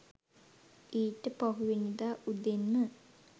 ඊට පහුවෙනිදා උදෙන්ම